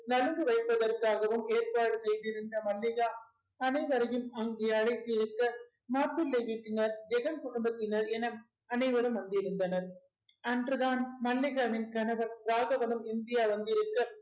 நலுங்கு வைப்பதற்காகவும் ஏற்பாடு செய்திருந்த மல்லிகா அனைவரையும் அங்கே அழைத்திருக்க மாப்பிளை வீட்டினர் ஜெகன் குடும்பத்தினர் என அனைவரும் வந்திருந்தனர் அன்றுதான் மல்லிகாவின் கணவர் ராகவனும் இந்தியா வந்திருக்க